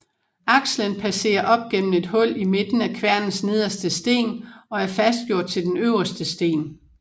Akselen passerer op gennem et hul i midten af kværnens nederste sten og er fastgjort til den øverste sten